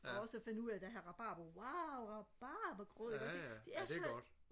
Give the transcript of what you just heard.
også da jeg fandt ud af jeg har rabarber wow rabarbergrød ikke også ikke det er så